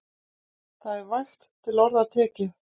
Það er vægt til orða tekið.